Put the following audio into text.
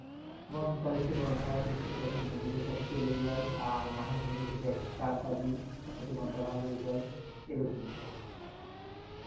কখন বন্ধুদের সাথে চলে যাই আর না হয় বন্ধুর সাথে একসাথে আড্ডা দিই যাতে মনটা ভালো হয়ে যায় এরকমই হ্যাঁ আচ্ছা আচ্ছা বুঝতে পারছি হা হা এগুলো তো বিনোদনের অংশ আমাদের